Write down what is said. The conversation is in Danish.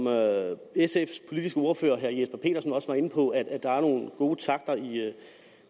sfs politiske ordfører herre jesper petersen også var inde på at der er nogle gode takter i